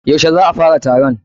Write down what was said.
Yaushe za a fara taron?